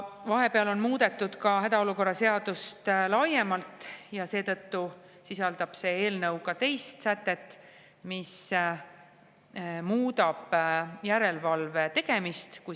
Vahepeal on muudetud ka hädaolukorra seadust laiemalt, seetõttu sisaldab see eelnõu teist sätet, mis muudab järelevalve tegemist.